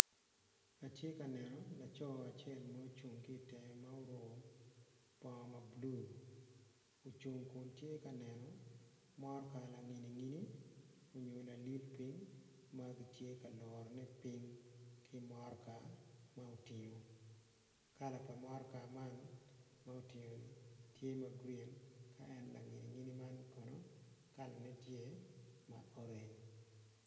Atye ka neno laco acel ma ocung kitenge ma oruko bongo ma blue ocung kun tye ka neno motka langini ngini onyo lalil pi magitye ka loro ne ping kitmotka ma otingo kala pa motka man ma oting ni tye magreen ka en langiningini man kono kala ne tye ma orange